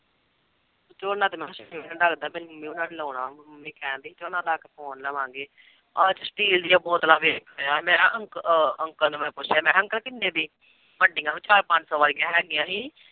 ਝੋਨਾ ਤੇ ਲਾਉਣਾ ਮੰਮੀ ਕਹਿਣਡੀ ਝੋਨਾ ਲਾ ਕੇ ਅੱਜ steel ਦੀਆਂ ਬੋਤਲਾਂ ਵੇਚ ਰਿਹਾ ਮੇਰਾ ਅੰਕ ਅਹ ਅੰਕਲ ਨੂੰ ਮੈਂ ਪੁੱਛਿਆ ਮੈਂ ਕਿਹਾ ਅੰਕਲ ਕਿੰਨੇ ਦੀ, ਵੱਡੀਆਂ ਵੀ ਚਾਰ ਪੰਜ ਸੌ ਵਾਲੀਆਂ ਹੈਗੀਆਂ ਸੀ।